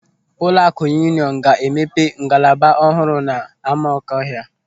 Ụlọakụ Yuuniọnụ ga-emepe ngalaba ọhụrụ n'Amakọhia.